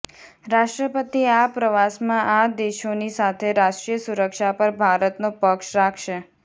રાષ્ટ્રપતિ આ પ્રવાસમાં આ દેશોની સાથે રાષ્ટ્રીય સુરક્ષા પર ભારતનો પક્ષ રાખશે